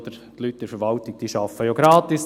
Die Leute in der Verwaltung arbeiten ja gratis.